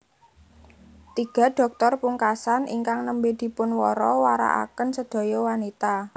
Tiga dhoktor pungkasan ingkang nembé dipunwara warakaken sedaya wanita